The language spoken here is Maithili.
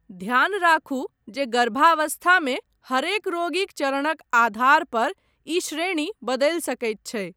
ध्यान राखु जे गर्भावस्थामे हरेक रोगीक चरणक आधार पर इ श्रेणी बदलि सकैत छै।